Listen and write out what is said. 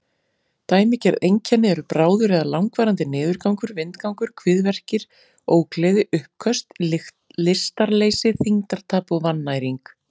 Dæmigerð einkenni eru bráður eða langvarandi niðurgangur, vindgangur, kviðverkir, ógleði, uppköst, lystarleysi, þyngdartap og vannæring.